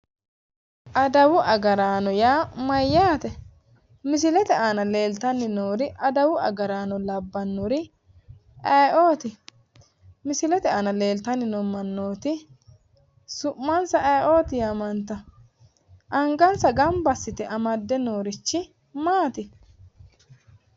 Adawu agaraano yaa mayyaate? Misilete aana leeltanni noori adawu agaraano labbannori ayiooti? Misilete aana leeltanni noo mannooti su'mansa ayiooti yaamantawo? Angansa gamba assite amadde noorichi maati?